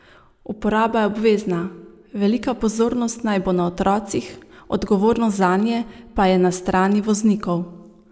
Uporaba je obvezna, velika pozornost naj bo na otrocih, odgovornost zanje pa je na strani voznikov.